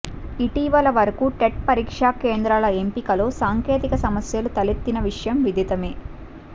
ఇటీవల వరకూ టెట్ పరీక్షా కేంద్రాల ఎంపికలో సాంకేతిక సమస్యలు తలెత్తిన విషయం విదితమే